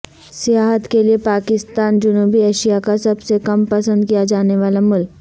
سیاحت کے لیے پاکستان جنوبی ایشیا کا سب سے کم پسند کیا جانے والا ملک